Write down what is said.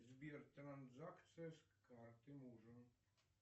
сбер транзакция с карты мужа